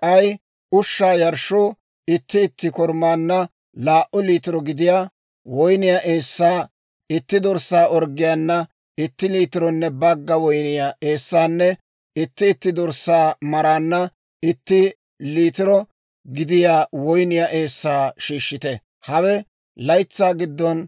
K'ay ushshaa yarshshoo itti itti korumaanna laa"u liitiro gidiyaa woyniyaa eessaa, itti dorssaa orggiyaana itti liitironne bagga woyniyaa eessaanne itti itti dorssaa maraanna itti liitiro gidiyaa woyniyaa eessaa shiishshite. Hawe laytsaa giddon